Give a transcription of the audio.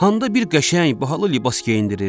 Hada bir qəşəng bahalı libas geyindirir.